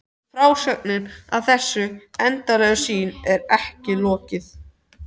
Frásögninni af þessari undarlegu sýn er ekki lokið.